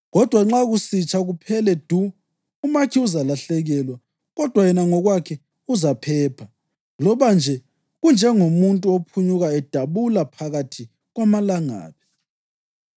Kodwa nxa kusitsha kuphele du, umakhi uzalahlekelwa kodwa yena ngokwakhe uzaphepha, loba nje kunjengomuntu ophunyuka edabula phakathi kwamalangabi.